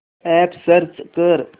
app search कर